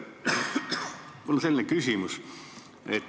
Mul on selline küsimus.